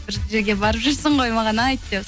сен бір жерге барып жүрсін ғой маған айт деп